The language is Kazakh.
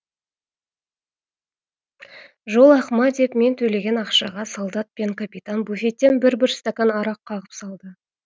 жол ақыма деп мен төлеген ақшаға солдат пен капитан буфеттен бір бір стакан арақ қағып салды